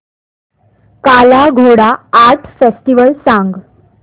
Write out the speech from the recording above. काला Ghoda art festival सांग